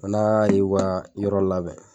Fo n'a ye wa yɔrɔ labɛn.